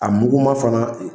A muguma fana